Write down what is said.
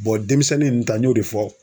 Bɔn denmisɛnnin ninnu ta n y'o de fɔ